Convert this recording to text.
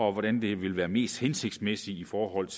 og hvordan det vil være mest hensigtsmæssigt i forhold